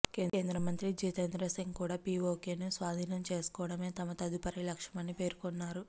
కేంద్రమంత్రి జితేంద్ర సింగ్ కూడా పీఓకేను స్వాధీనం చేసుకోవడమే తమ తదుపరి లక్ష్యమని పేర్కొన్నారు